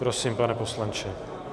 Prosím, pane poslanče.